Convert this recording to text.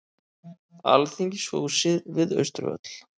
Alþingishúsið við Austurvöll.